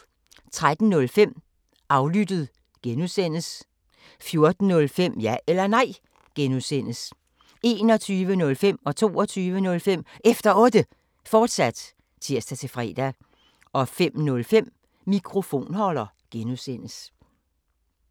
13:05: Aflyttet G) 14:05: Ja eller Nej (G) 21:05: Efter Otte, fortsat (tir-fre) 22:05: Efter Otte, fortsat (tir-fre) 05:05: Mikrofonholder (G)